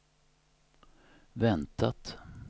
väntat